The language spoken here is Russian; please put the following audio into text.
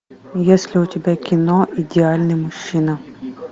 есть ли у тебя кино идеальный мужчина